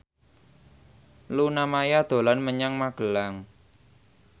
Luna Maya dolan menyang Magelang